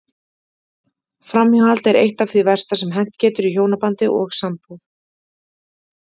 Framhjáhald er eitt af því versta sem hent getur í hjónabandi og sambúð.